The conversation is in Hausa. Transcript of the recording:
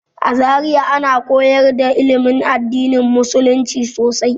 A Zariya ana koyar da ilimin addinin musulumci sosai.